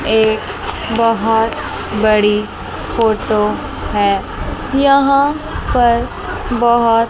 एक बहोत बड़ी फोटो है यहां पर बहोत --